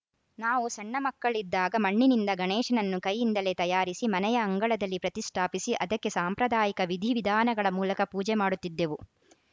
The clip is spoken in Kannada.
ನಾವು ಸಣ್ಣ ಮಕ್ಕಳಿದ್ದಾಗ ಮಣ್ಣಿನಿಂದ ಗಣೇಶನನ್ನು ಕೈಯಿಂದಲೇ ತಯಾರಿಸಿ ಮನೆಯ ಅಂಗಳದಲ್ಲಿ ಪ್ರತಿಷ್ಠಾಪಿಸಿ ಅದಕ್ಕೆ ಸಾಂಪ್ರದಾಯಿಕ ವಿಧಿ ವಿಧಾನಗಳ ಮೂಲಕ ಪೂಜೆ ಮಾಡುತ್ತಿದ್ದೆವು